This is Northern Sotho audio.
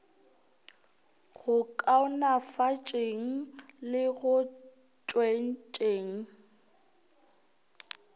go kaonafatšeng le go tšwetšeng